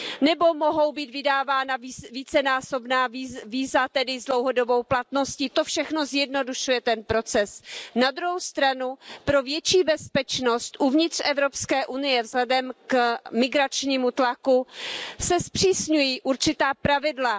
Nebo mohou být vydávána vícenásobná víza, tedy s dlouhodobou platností, to všechno zjednodušuje ten proces. Na druhou stranu, pro větší bezpečnost uvnitř Evropské unie se vzhledem k migračnímu tlaku zpřísňují určitá pravidla.